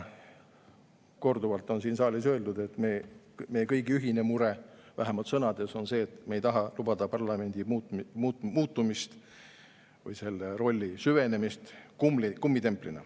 Korduvalt on siin saalis öeldud, et meie kõigi ühine mure – vähemalt sõnades on see nii – on see, et me ei taha lubada parlamendi muutumist kummitempliks või selle rolli süvenemist.